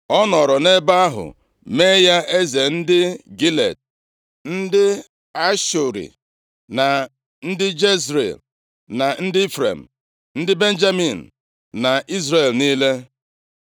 Ọ nọrọ nʼebe ahụ mee ya eze ndị Gilead, ndị Ashuri + 2:9 Ndị Ashuri bụ ndị ezinaụlọ si nʼebo Asha \+xt Nkp 1:31-32; Jos 19:24-31\+xt* na ndị Jezril; na ndị Ifrem, ndị Benjamin na Izrel niile.